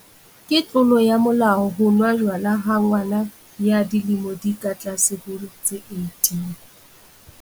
Ke tlolo ya molao ho nwa jwala ha ngwana ya dilemo di ka tlase ho tse 18.